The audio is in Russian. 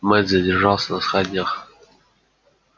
мэтт задержался на сходнях